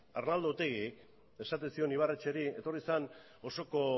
arnaldo otegi esaten zion ibarretxeri etorri zen osoko